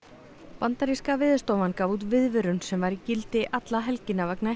bandaríska Veðurstofan gaf út viðvörun sem var í gildi alla helgina vegna